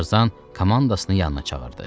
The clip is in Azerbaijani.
Tarzan komandasını yanına çağırdı.